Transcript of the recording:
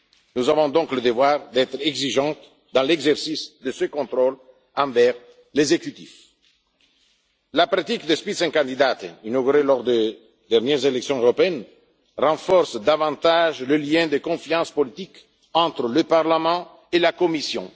Nous avons donc le devoir d'être exigeants dans l'exercice de ce contrôle envers l'exécutif. La pratique des Spitzenkandidaten inaugurée lors des dernières élections européennes, renforce davantage le lien de confiance politique entre le Parlement et la Commission.